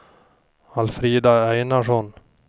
Alfrida Einarsson